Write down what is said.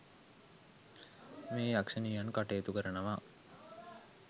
මේ යක්ෂණියන් කටයුතු කරනවා.